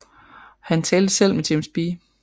Han talte selv med James B